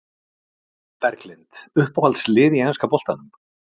Berglind Uppáhalds lið í enska boltanum?